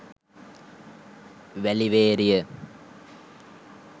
weliweriya